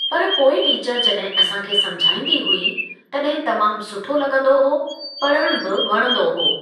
पर पोइ टीचर जॾहिं असां खे समुझाईंदी हुई तॾहिं तमामु सुठो लॻंदो हो पढ़णु बि वणंदो हो।